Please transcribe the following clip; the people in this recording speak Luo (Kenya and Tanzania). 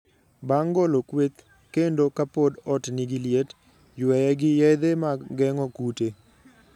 Bang' golo kweth, kendo ka pod ot nigi liet, yweye gi yedhe mag geng'o kute.